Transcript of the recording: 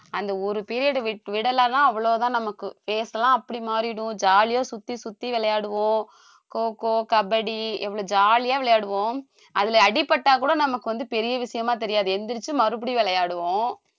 அந்த ஒரு period வி~ விடலைன்னா அவ்வளவுதான் நமக்கு face எல்லாம் அப்படி மாறிடும் jolly ஆ சுத்தி சுத்தி விளையாடுவோம் kho kho, kabaddi எவ்வளவு jolly ஆ விளையாடுவோம் அதுல அடிபட்டா கூட நமக்கு வந்து பெரிய விஷயமா தெரியாது எந்திரிச்சு மறுபடியும் விளையாடுவோம்